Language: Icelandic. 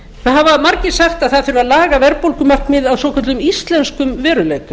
það hafa margir sagt að það þurfi að laga verðbólgumarkmiðið að svokölluðum íslenskum veruleika